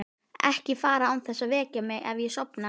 Ekki fara án þess að vekja mig ef ég sofna.